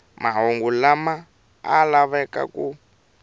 mahungu lama a lavaka ku